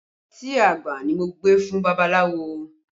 Ọtí àgbà ni mo gbé fún babaláwo